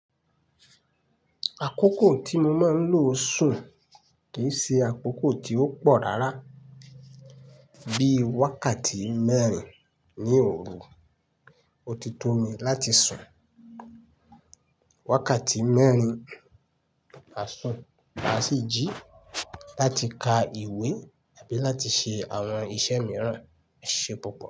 Àkókò tí mo máa ń lo sùn kì í ṣe àkókò tí ó pọ̀ rárá, bíi wákàtí mẹ́rin ní òru. Ó ti tó mi láti sùn wákàtí mẹ́rin a sun, a sì jí láti ka ìwé àbí láti ṣe àwọn iṣẹ́ mìíràn e ṣe púpọ̀.